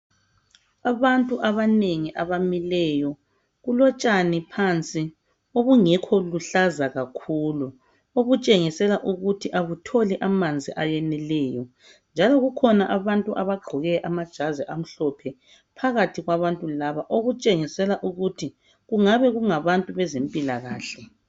Abantu abanengi abamileyo. Kulotshani phansi obungekho luhlaza kakhulu , obuyshengisela ukuthi abutholi amanzi ayeneleyo. Njalo kukhona abantu abagqoke amajazi amhlophe phakathi kwabantu laba. Okutshengisela ukuthi kungabe kungabantu bezempilakahle.